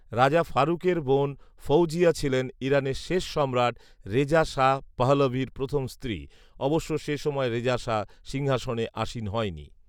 রাজা ফারুকের বোন ফঔজিয়া ছিলেন ইরানের শেষ সম্রাট রেজা শাহ পাহলভীর প্রথম স্ত্রী, অবশ্য সে সময় রেজা শাহ সিংহাসনে আসীন হয় নি